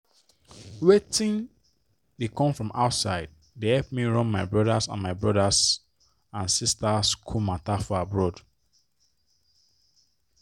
wetin dey come from outside dey help me run my brothers and my brothers and sisters school matter for abroad.